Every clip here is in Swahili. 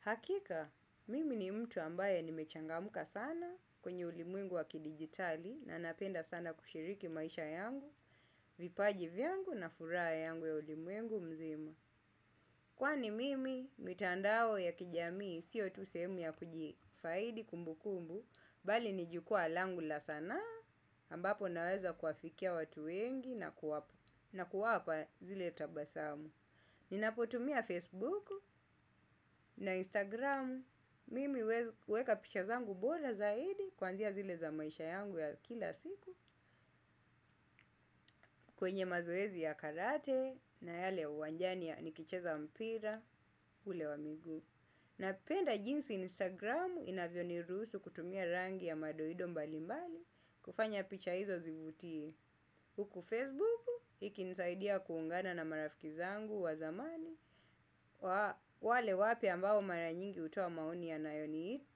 Hakika, mimi ni mtu ambaye nimechangamka sana kwenye ulimwengu wa kidigitali na napenda sana kushiriki maisha yangu, vipaji vyangu na furaha yangu ya ulimwengu mzima. Kwani mimi, mitandao ya kijamii, sio tu sehemu ya kujifaidi kumbu kumbu, bali ni jukwaa langu la sanaa, ambapo naweza kuwafikia watu wengi na kuwapa, na kuwapa zile tabasamu. Ninapotumia Facebook na Instagram. Mimi huweka picha zangu bora zaidi kuanzia zile za maisha yangu ya kila siku kwenye mazoezi ya karate na yale ya uwanjani nikicheza mpira ule wa miguu. Napenda jinsi Instagramu inavyo niruhusu kutumia rangi ya madoido mbali mbali kufanya picha hizo zivutie. Huku Facebook iki nisaidia kuungana na marafiki zangu wa zamani wa wale wapya ambao mara nyingi hutoa maoni yanayo ni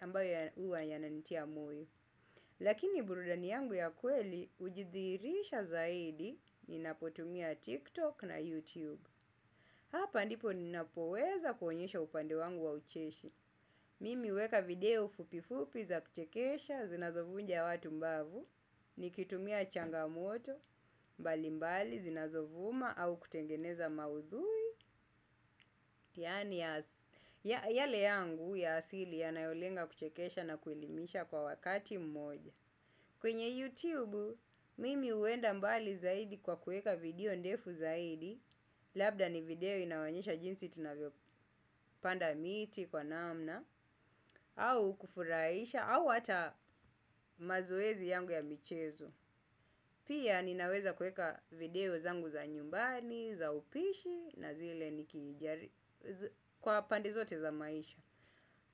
ambayo huwa yananitia moyo. Lakini burudani yangu ya kweli hujidhihirisha zaidi ninapotumia TikTok na YouTube. Hapa ndipo ninapoweza kuonyesha upande wangu wa ucheshi. Mimi huweka video fupifupi za kuchekesha zinazovunja watu mbavu. Nikitumia changamoto, mbalimbali zinazovuma au kutengeneza maudhui yale yangu ya asili yanayolenga kuchekesha na kuelimisha kwa wakati mmoja. Kwenye YouTube, mimi huenda mbali zaidi kwa kueka video ndefu zaidi. Labda ni video inayoonyesha jinsi tunavyo panda miti kwa namna au kufurahisha, au hata mazoezi yangu ya michezo. Pia ninaweza kuweka video zangu za nyumbani, za upishi, na zile nikijari kwa pande zote za maisha.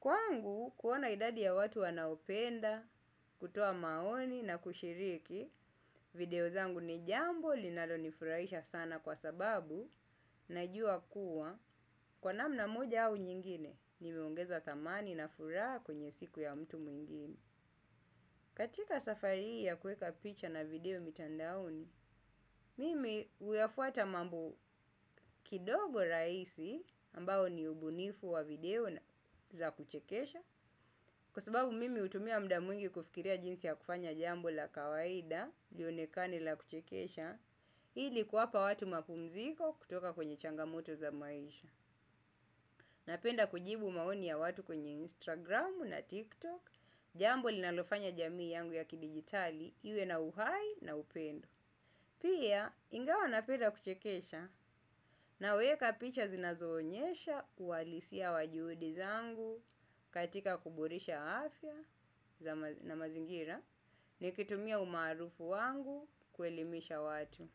Kwangu, kuona idadi ya watu wanaopenda, kutoa maoni na kushiriki, video zangu ni jambo, linalo nifurahisha sana kwa sababu, najua kuwa kwa namna moja au nyingine nimeongeza thamani na furaha kwenye siku ya mtu mwingine. Katika safari hii ya kuweka picha na video mitandaoni mimi huyafuata mambo kidogo rahisi ambao ni ubunifu wa video za kuchekesha. Kwa sababu mimi hutumia muda mwingi kufikiria jinsi ya kufanya jambo la kawaida lionekane la kuchekesha ili kuwapa watu mapumziko kutoka kwenye changa moto za maisha. Napenda kujibu maoni ya watu kwenye Instagram na TikTok, jambo linalofanya jamii yangu ya kidigitali iwe na uhai na upendo. Pia ingawa napenda kuchekesha naweka picha zinazoonyesha uhalisia wa juhudi zangu katika kuboresha afya na mazingira nikitumia umaarufu wangu kuelimisha watu.